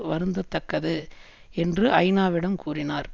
வருந்த தக்கது என்று ஐநாவிடம் கூறினார்